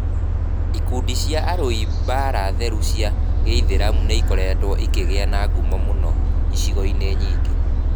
Ikundi cia arui a mbaara theru cia gĩithiramu nĩ ikoretwo ikĩgĩa na ngumo mũno icigo-inĩ nyingĩ.